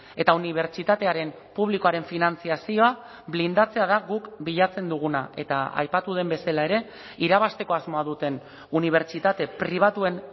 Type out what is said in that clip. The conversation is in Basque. eta unibertsitatearen publikoaren finantzazioa blindatzea da guk bilatzen duguna eta aipatu den bezala ere irabazteko asmoa duten unibertsitate pribatuen